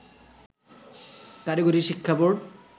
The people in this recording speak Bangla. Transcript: কারিগরি শিক্ষা বোর্ড